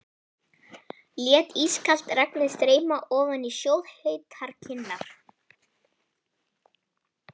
Lét ískalt regnið streyma ofan á sjóðheitar kinnar.